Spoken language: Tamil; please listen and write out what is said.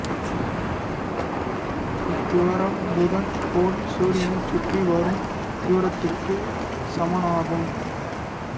இத்தூரம் புதன் கோள் சூரியனைச் சுற்றி வரும் தூரத்துக்கு சமனாகும்